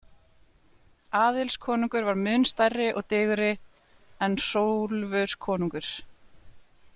Aðils konungur var mun stærri og digurri en Hrólfur konungur.